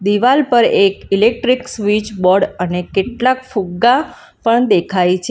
દિવાલ પર એક ઇલેક્ટ્રીક સ્વીચ બોર્ડ અને કેટલાક ફુગ્ગા પણ દેખાય છે.